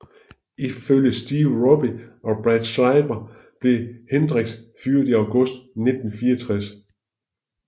Ifølge Steve Roby og Brad Schreiber blev Hendrix fyret i august 1964